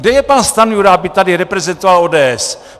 Kde je pan Stanjura, aby tady reprezentoval ODS?